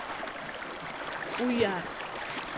уяр